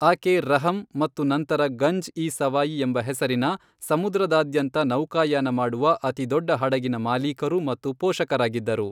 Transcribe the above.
ಆಕೆ ರಹಮ್ ಮತ್ತು ನಂತರ ಗಂಜ್ ಇ ಸವಾಯಿ ಎಂಬ ಹೆಸರಿನ ಸಮುದ್ರದಾದ್ಯಂತ ನೌಕಾಯಾನ ಮಾಡುವ ಅತಿದೊಡ್ಡ ಹಡಗಿನ ಮಾಲೀಕರು ಮತ್ತು ಪೋಷಕರಾಗಿದ್ದರು.